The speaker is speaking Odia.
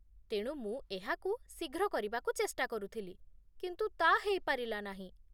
ତେଣୁ ମୁଁ ଏହାକୁ ଶୀଘ୍ର କରିବାକୁ ଚେଷ୍ଟା କରୁଥିଲି, କିନ୍ତୁ ତା' ହେଇପାରିଲା ନାହିଁ